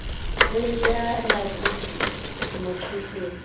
kweliya lakuthi emaxhoseni